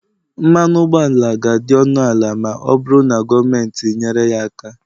mmanụ ụgbọala ga-adị ọnụ ala ma ọ bụrụ na gọọmenti nyere ya aka